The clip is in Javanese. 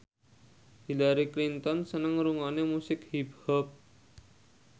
Hillary Clinton seneng ngrungokne musik hip hop